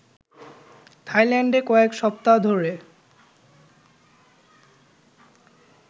থাইল্যান্ডে কয়েক সপ্তাহ ধরে